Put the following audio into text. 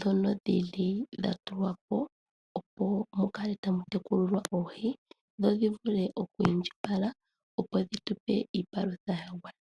dhono dhili dhatulwa po, oku tula oohi, dho shi vule okwiindjipala dho dhitu pe iipalutha yagwana.